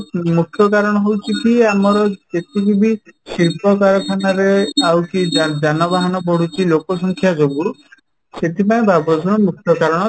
ମୁଖ୍ୟ କାରଣ ହଉଛି କି ଯେତିକି ବି ଶିଳ୍ପ କାରଖାନା ରେ ଆଉ କି ଯାନବାହାନ ବଢୁଛି ଲୋକ ସଂଖ୍ୟା ଯୋଗୁଁ ସେଥିପାଇଁ ବାୟୂପ୍ରଦୂଷଣ ର ମୁଖ୍ୟ କାରଣ